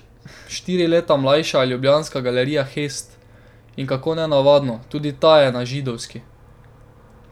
Štiri leta mlajša je ljubljanska galerija Hest, in kako nenavadno, tudi ta je na Židovski.